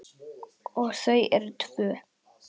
Og þau eru tvö.